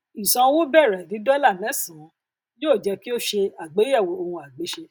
ìsan owó bẹrẹ ní dọlà mẹsànán yóò jé kí o ṣe àgbéyẹwò ohunagbéṣe